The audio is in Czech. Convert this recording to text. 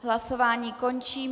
Hlasování končím.